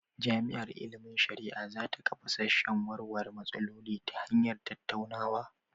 Jami'ar ilimin shari'a za ta kafa sashen warware matsaloli ta hanyar tattaunawa.